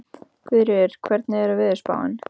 Guðríður, hvernig er veðurspáin?